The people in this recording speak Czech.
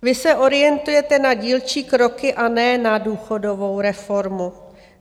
Vy se orientujete na dílčí kroky a ne na důchodovou reformu.